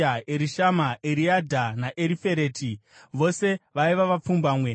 Erishama, Eriadha naErifereti, vose vaiva vapfumbamwe.